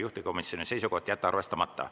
Juhtivkomisjoni seisukoht on jätta arvestamata.